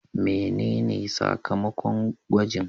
Menene sakamakon gwajin?